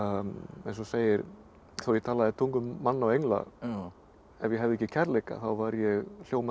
eins og segir þó ég talaði tungum manna og engla en hefði ekki kærleika væri ég hljómandi